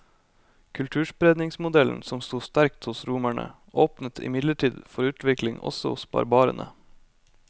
Kulturspredningsmodellen, som sto sterkt hos romerne, åpnet imidlertid for utvikling også hos barbarene.